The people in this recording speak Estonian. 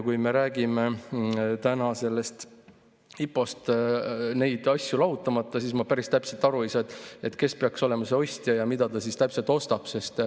Kui me räägime täna sellest IPO-st neid asju lahutamata, siis ei saa ma päris täpselt aru, kes peaks olema ostja ja mida ta täpselt ostab.